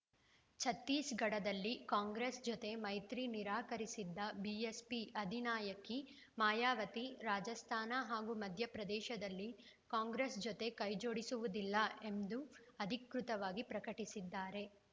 ಛತ್ತೀಸ್‌ಗಢದಲ್ಲಿ ಕಾಂಗ್ರೆಸ್‌ ಜತೆ ಮೈತ್ರಿ ನಿರಾಕರಿಸಿದ್ದ ಬಿಎಸ್ಪಿ ಅಧಿನಾಯಕಿ ಮಾಯಾವತಿ ರಾಜಸ್ಥಾನ ಹಾಗೂ ಮಧ್ಯಪ್ರದೇಶದಲ್ಲಿ ಕಾಂಗ್ರೆಸ್‌ ಜತೆ ಕೈಜೋಡಿಸುವುದಿಲ್ಲ ಎಂದು ಅಧಿಕೃತವಾಗಿ ಪ್ರಕಟಿಸಿದ್ದಾರೆ